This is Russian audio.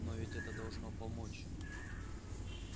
но ведь это должно помочь